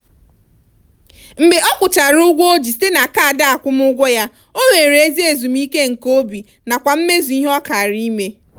mgbe ọ kwụchara ụgwọ ndị o ji site na kaadị akwụmụụgwọ ya o nwere ezi ezumike nke obi nakwa mmezu ihe ọ kara ime.